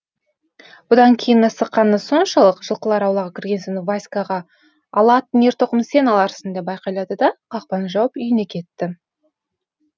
бұдан кейін асыққаны соншалық жылқылар аулаға кірген соң васькаға ала аттың ер тоқымын сен аларсың деп айқайлады да қақпаны жауып үйіне кетті